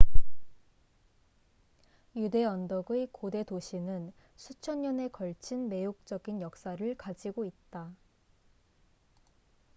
유대 언덕의 고대 도시는 수천 년에 걸친 매혹적인 역사를 가지고 있다